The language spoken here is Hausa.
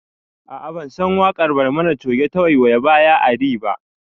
A'a bansan waƙar barmani coge ta 'waiyaya baya ari' ba